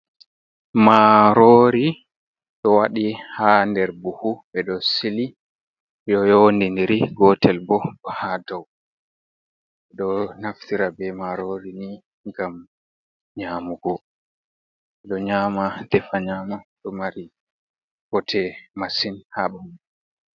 Maroori, do wadi ha der Buhu. be do sili do youdidiri gotel bo do ha dow do naftira be maroori ni gam nyamugo, be do nyama defa nyama do mari botee masin ha bandu.